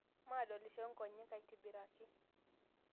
Maadolisho nkonyek aitibiraki